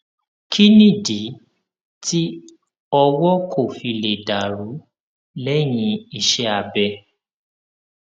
kí nìdí tí ọwó kò fi lè dà rú léyìn iṣé abẹ